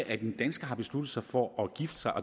at en dansker har besluttet sig for at gifte sig